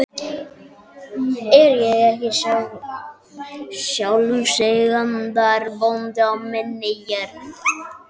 Er ég ekki sjálfseignarbóndi á minni jörð?